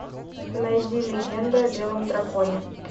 найди легенда о белом драконе